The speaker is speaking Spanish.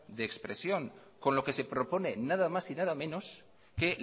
de expresión con lo que se propone nada más y nada menos que